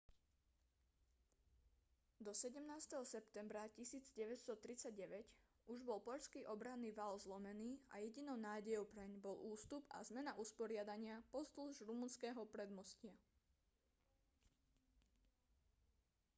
do 17. septembra 1939 už bol poľský obranný val zlomený a jedinou nádejou preň bol ústup a zmena usporiadania pozdĺž rumunského predmostia